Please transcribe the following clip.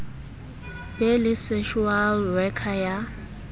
be le social worker ya